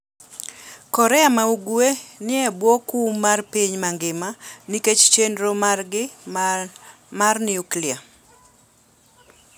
Korea ma Ugwe ni e bwo kum mar piny mangima nikech chenro margi mar nuklia.